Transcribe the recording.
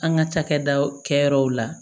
An ka cakɛdaw kɛ yɔrɔw la